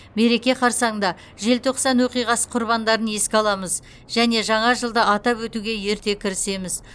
мереке қарсаңында желтоқсан оқиғасы құрбандарын еске аламыз және жаңа жылды атап өтуге ерте кірісеміз